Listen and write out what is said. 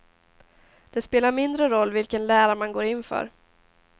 Det spelar mindre roll vilken lära man går in för.